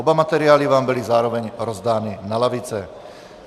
Oba materiály vám byly zároveň rozdány na lavice.